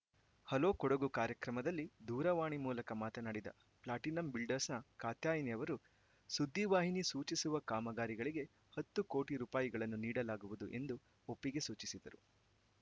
hello Kodagu ಕಾರ್ಯಕ್ರಮದಲ್ಲಿ ದೂರವಾಣಿ ಮೂಲಕ ಮಾತನಾಡಿದ ಪ್ಲಾಟಿನಂ ಬಿಲ್ಡರ್ಸ್‌ನ ಕಾತ್ಯಾಯಿನಿ ಅವರು ಸುದ್ದಿವಾಹಿನಿ ಸೂಚಿಸುವ ಕಾಮಗಾರಿಗಳಿಗೆ ಹತ್ತು ಕೋಟಿ ರುಗಳನ್ನು ನೀಡಲಾಗುವುದು ಎಂದು ಒಪ್ಪಿಗೆ ಸೂಚಿಸಿದರು